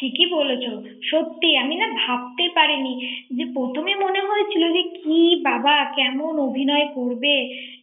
ঠিকই বলেছ সত্যি আমি না ভাবতে পারিনি যে প্রথমে মনে হয়েছিল যে কি বাবা কোন অভিনয় করবে